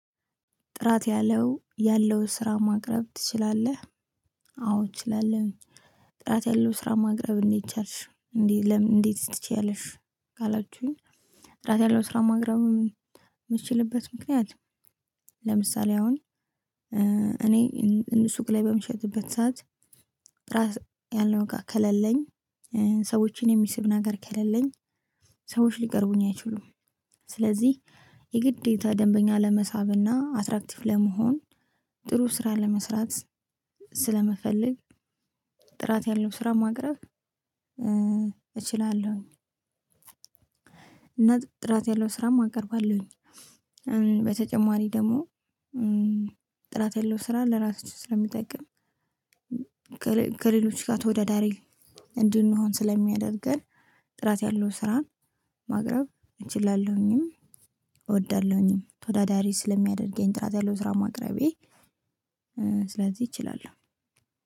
ጥራት ያለው ያለው ስራ ማቅረብ ትችላለህ? አዎ እችላለሁኝ። ጥራት ያለው ስራ ማቅረብ እንዴት ቻልሽ እንዴት ለምን እንዴትስ ትችያለሽ? ካላችሁኝ ጥራት ያለው ስራ ማቅረብ የምችልበት ምክንያት። ለምሳሌ አሁን እኔ ሱቅ ላይ በምሸጥበት ሰዓት። ጥራት ያለው እቃ ከሌለኝ ሰዎችን የሚስብ ነገር ከሌለኝ ሰዎች ሊቀርቡኝ አይችሉም። ስለዚህ የግዴታ ደንበኛ ለመሳብና አትራክቲቭ ለመሆን። ጥሩ ስራ ለመስራት ስለምፈልግ። ጥራት ያለው ስራ ማቅረብ እችላለሁኝ። እና ጥራት ያለው ስራም አቀርባለሁኝ። በተጨማሪ ደግሞ ጥራት ያለው ስራ ለራስህ ስለሚጠቅም። ከሌሎች ጋር ተወዳዳሪ እንድንሆን ስለሚያደርገን። ጥራት ያለው ስራ ማቅረብ እችላለሁኝም። እወዳለሁኝም ተወዳዳሪ ስለሚያደርገኝ ጥራት ያለው ስራ ማቅረቤ። ስለዚህ እችላለሁ።